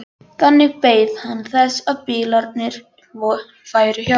Þannig beið hann þess að bílarnir færu hjá.